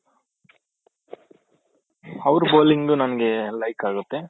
ಅವರ bowling ನಮ್ಗೆ like ಆಗುತ್ತೆ